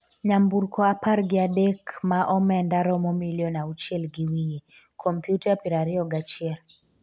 nyamburko apar gi adek ma omenda romo milion auchiel gi wiye, kompyuta piero ariyo gi achiel